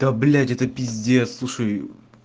да блядь это пиздец слушай